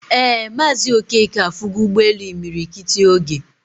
Ee Mazi Okeke afugo Ugbe elu imiri kiti ogee